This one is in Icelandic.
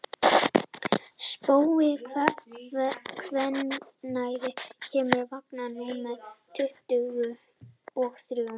Spói, hvenær kemur vagn númer tuttugu og þrjú?